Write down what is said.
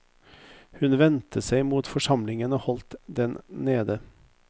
Hun vendte seg mot forsamlingen og holdt den nede.